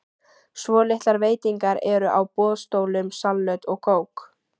Svolitlar veitingar eru á boðstólum, salöt og kók.